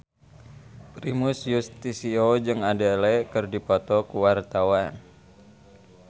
Primus Yustisio jeung Adele keur dipoto ku wartawan